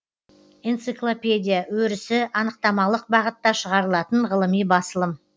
энциклопедия өрісі анықтамалық бағытта шығарылатын ғылыми басылым